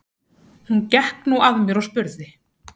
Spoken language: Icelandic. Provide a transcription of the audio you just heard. Hún gekk nú að mér og spurði